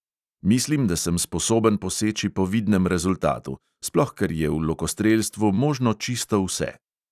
Mislim, da sem sposoben poseči po vidnem rezultatu, sploh ker je v lokostrelstvu možno čisto vse.